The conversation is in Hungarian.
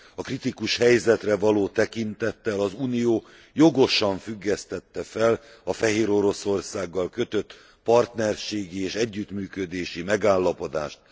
A kritikus helyzetre való tekintettel az Unió jogosan függesztette fel a Fehéroroszországgal kötött partnerségi és együttműködési megállapodást.